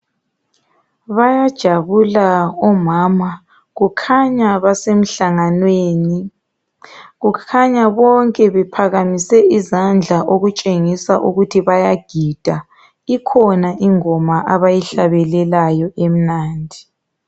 Bayajabula omama kukhanya basemhlanganweni kukhanya bonke bephakamise izandla okutshengisa ukuthi bayagida ikhona ingoma abayihlabelelayo emnandi.